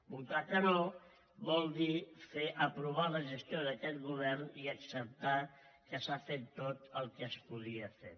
votar que no vol dir aprovar la gestió d’aquest govern i acceptar que s’ha fet tot el que es podia fer